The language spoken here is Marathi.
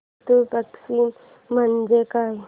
पितृ पक्ष म्हणजे काय